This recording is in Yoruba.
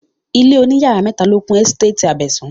Ilé òní yàrá mẹ́ta ló kún ẹ́sítétì Abẹ̀sán